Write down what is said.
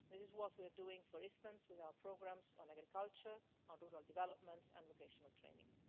This is what we are doing, for instance, with our programmes on agriculture, on rural development and vocational training.